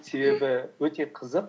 себебі өте қызық